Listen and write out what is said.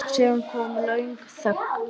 Síðan kom löng þögn.